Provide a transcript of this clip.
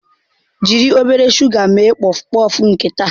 Jiri obere shuga mee pọfpọf nke taa.